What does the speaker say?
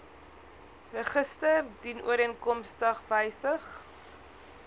register dienooreenkomstig wysig